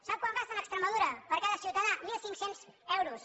sap quan gasten a extremadura per a cada ciutadà mil cinc cents euros